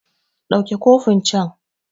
Ɗauke cofin can!